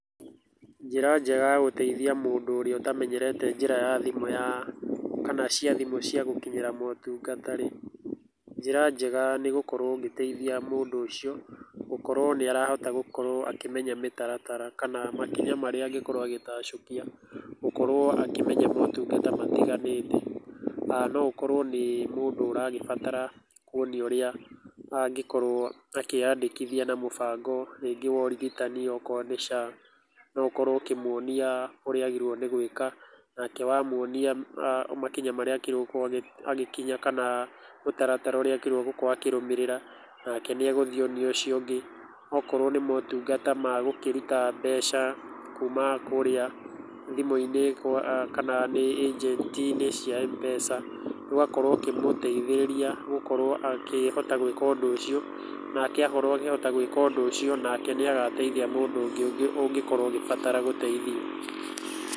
Njĩra njega ya gũteithia mũndũ ũrĩa ũtamenyereta njĩra ya thimũ ya kana cia thimũ cia gũkinyĩra motungata rĩ, njĩra njega nĩ gũkorũo ũgĩteithia mũndũ ũcio gũkorwo nĩ arahota gũkorwo akĩmenya mĩtaratara kana makinya marĩa angĩkorwo agĩtacũkia gũkorwo akĩmenya motungata matiganĩte. No akorwo nĩ mũndũ ũragĩbatara kuonio ũrĩa angĩkorwo akĩandĩkithia na mũbango rĩngĩ wa ũrigitani okorwo nĩ SHA, no ũkorwo ũkĩmuonia ũrĩa agĩrĩirwo nĩ gwĩka, nake wemuonia makinya marĩa agĩrĩirwo nĩ gũkinya kana mũtaratara ũrĩa agirĩirwo gũkorwo akĩrũmĩrĩra, nake nĩ egũthiĩ onie ũcio ũngĩ. Okorwo nĩ motungata ma gũkĩruta mbeca kuuma kũrĩa thimũ-inĩ kana nĩ agent cia Mpesa, ũgakorwo ũkĩmũteithĩrĩria gũkorwo akĩhota gwĩka ũndũ ũcio. Nake akorwo akĩhota gwĩka ũndũ ũcio nake nĩ agateithia mũndũ ũngĩ ũngĩkorwo agĩbatara gũteithio.